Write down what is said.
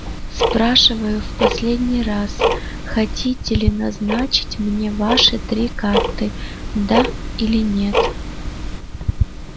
спрашиваю в последний раз хотите ли назначить мне ваши три карты да или нет